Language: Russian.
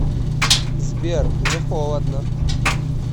сбер мне холодно